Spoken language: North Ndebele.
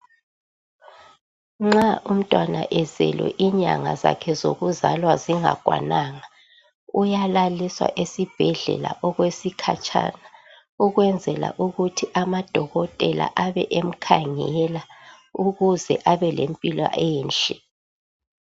Nxa umtwana ezelwe inyanga zakhe zokuzalwa zingakwananga. Uyalaliswa esibhedlela okwesikhatshana ukwenzela ukuthi amadokotela abe emkhangela ukuze abelempila enhle.